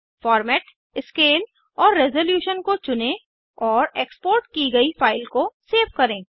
format scale और resolution को चुनें और एक्सपोर्ट की गयी फाइल को सेव करें